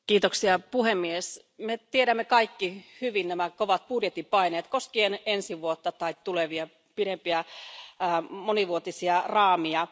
Arvoisa puhemies, me tiedämme kaikki hyvin nämä kovat budjettipaineet koskien ensi vuotta tai tulevia pidempiä monivuotisia raameja.